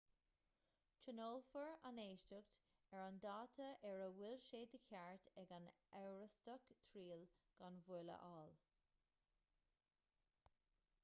tionólfar an éisteacht ar an dáta ar a bhfuil sé de cheart ag an amhrastach triail gan mhoill a fháil